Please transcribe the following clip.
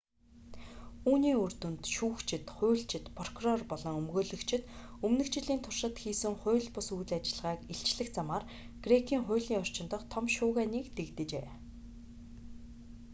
үүний үр дүнд шүүгчид хуульчид прокурор болон өмгөөлөгчид өмнөх жилийн туршид хийсэн хууль бус үйл ажиллагааг илчлэх замаар грекийн хуулийн орчин дахь том шуугианыг дэгдээжээ